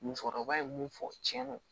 Musokɔrɔba ye mun fɔ cɛn ye